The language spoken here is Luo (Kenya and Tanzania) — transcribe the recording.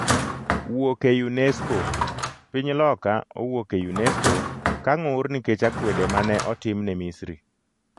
wuok e UNESCO .Piny Loka owuok e UNESCO ka ng'ur nikech akwede ma ne otim ne Misri